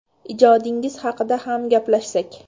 Ijodingiz haqida ham gaplashsak.